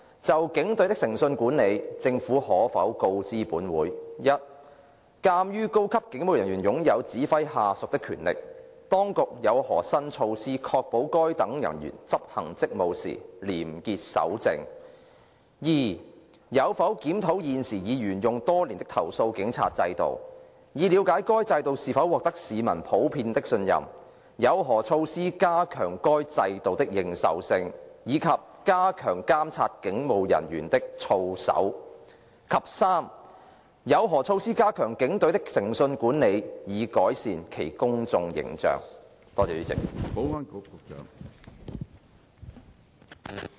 就警隊的誠信管理，政府可否告知本會：一鑒於高級警務人員擁有指揮下屬的權力，當局有何新措施確保該等人員執行職務時廉潔守正；二有否檢討現時已沿用多年的投訴警察制度，以了解該制度是否獲得市民普遍的信任；有何措施加強該制度的認受性，以及加強監察警務人員的操守；及三有何措施加強警隊的誠信管理及改善其公眾形象？